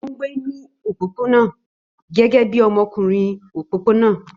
Ó ń gbé ní òpópónà gẹ́gẹ́ bí ọmọkùnrin òpópónà